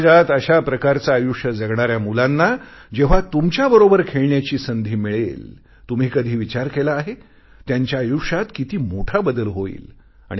समाजात अशा प्रकारचे आयुष्य जगणाऱ्या मुलांना जेव्हा तुमच्याबरोबर खेळण्याची संधी मिळेल तुम्ही कधी विचार केला आहे त्यांच्या आयुष्यात किती मोठा बदल होईल